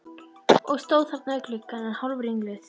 Og stóð þarna við gluggann enn hálfringluð.